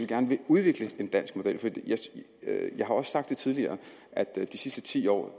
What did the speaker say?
gerne vil udvikle en dansk model jeg har også sagt tidligere at de sidste ti år